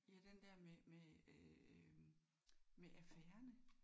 Ja den der med med øh med affærerne